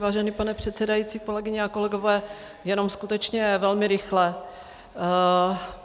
Vážený pane předsedající, kolegyně a kolegové, jenom skutečně velmi rychle.